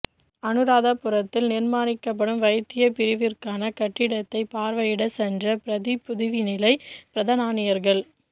அனுராதபுரத்தில் நிர்மானிக்கப்படும் வைத்திய பிரிவிற்க்கான கட்டிடத்தை பார்வையிடச் சென்ற பிரதி புதவிநிலைப் பிரதானியவர்கள்